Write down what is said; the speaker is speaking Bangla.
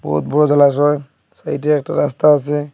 বহুত বড় জলাশয় সাইডে একটা রাস্তা আসে।